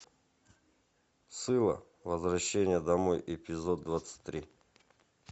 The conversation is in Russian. сыла возвращение домой эпизод двадцать три